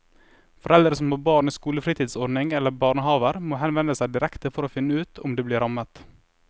Foreldre som har barn i skolefritidsordning eller barnehaver må henvende seg direkte for å finne ut om de blir rammet.